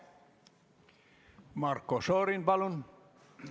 Marko Šorin, palun!